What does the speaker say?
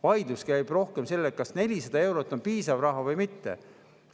Vaidlus käib rohkem selle üle, kas 400 eurot on piisav raha või mitte.